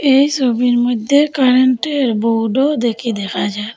এই সবির মইধ্যে কারেন্টের বোর্ডও দেখি দেখা যা--